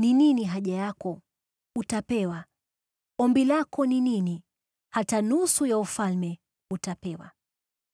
ni nini haja yako? Utapewa. Ombi lako ni nini? Hata nusu ya ufalme, utapewa.”